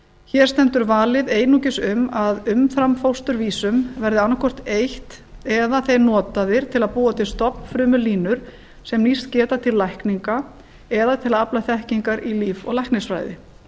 hér stendur valið einungis um að umframfósturvísum verði annað hvort eytt eða þeir notaðir til að búa til stofnfrumulínur sem nýst geta til lækninga eða til að afla þekkingar í líf og læknisfræði